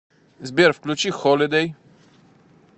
сбер включи холидей